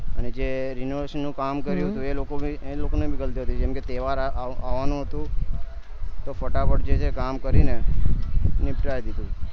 અને જે renovation નું કામ કર્યું હતું એ લોકો ભી એ લોકો ની ગલતી હતી જેમ કે તહેવાર આવાનો હતું તો ફટાફટ જે છે કામ કરીને નીપટાય દીધું